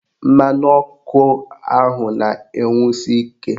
Mmanụ ọkụ ahụ na-enwusi ike